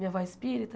Minha avó é espírita,